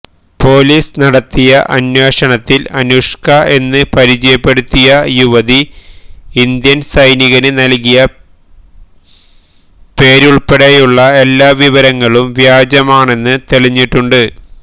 police നടത്തിയ അന്വേഷണത്തില് അനുഷ്ക എന്ന് പരിചയപ്പെടുത്തിയ യുവതി ഇന്ത്യന് സൈനികന് നല്കിയ പേരുള്പ്പെടെയുള്ള എല്ലാം വിവരങ്ങളും വ്യാജമാണെന്ന് തെളിഞ്ഞിട്ടുണ്ട്